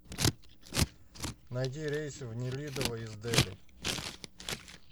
найди рейсы в нелидово из дели